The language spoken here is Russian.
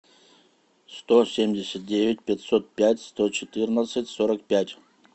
сто семьдесят девять пятьсот пять сто четырнадцать сорок пять